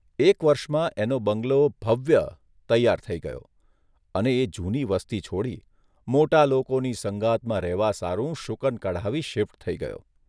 એક વર્ષમાં એનો બંગલો ' ભવ્ય ' તૈયાર થઇ ગયો અને એ જૂની વસ્તી છોડી, મોટાં લોકોની સંગાતમાં રહેવા સારું શુકન કઢાવી શિફ્ટ થઇ ગયો.